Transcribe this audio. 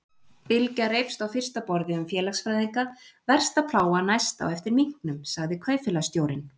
Bylgja reifst á fyrsta borði um félagsfræðinga, versta plága næst á eftir minknum, sagði kaupfélagsstjórinn.